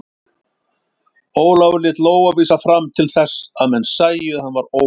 Ólafur lét lófa vísa fram til þess að menn sæju að hann var óvopnaður.